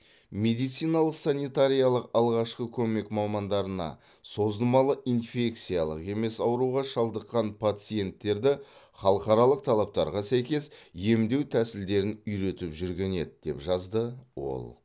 медициналық санитариялық алғашқы көмек мамандарына созылмалы инфекциялық емес ауруға шалдыққан пациенттерді халықаралық талаптарға сәйкес емдеу тәсілдерін үйретіп жүрген еді деп жазды ол